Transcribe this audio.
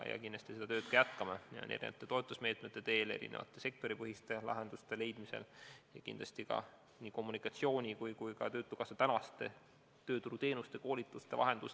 Kindlasti me seda tööd ka jätkame, rakendades erinevaid toetusmeetmeid, otsides erinevaid sektoripõhiseid lahendusi ja muutes efektiivsemaks nii kommunikatsiooni kui ka töötukassa tööturuteenuseid, koolitusi ja muid vahendusi.